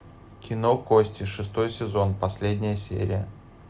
кино кости шестой сезон последняя серия